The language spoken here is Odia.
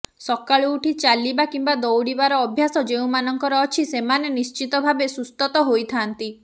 ସକାଳୁ ଉଠି ଚାଲିବା କିମ୍ବା ଦୌଡ଼ିବାର ଅଭ୍ୟାସ ଯେଉଁମାନଙ୍କର ଅଛି ସେମାନେ ନିଶ୍ଚିତ ଭାବେ ସୁସ୍ଥ ତ ହୋଇଥାନ୍ତି